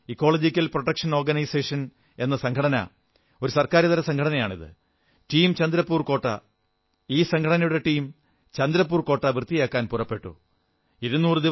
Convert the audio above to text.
അവിടെ ecological protection organisation പാരിസ്ഥിതിക രക്ഷാ സംഘടന എന്ന പേരിൽ ഒരു ഗവൺമെന്റേതര സംഘടനയുടെ ടീം ചന്ദ്രപ്പൂർ കോട്ട വൃത്തിയാക്കാൻ പുറപ്പെട്ടു